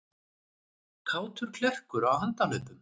Kátur klerkur á handahlaupum